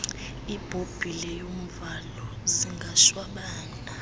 ibhobhile yomvalo zingashwabana